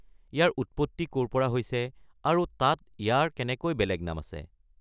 ইয়াৰ উৎপত্তি ক'ৰ পৰা হৈছে আৰু তাত ইয়াৰ কেনেকৈ বেলেগ নাম আছে?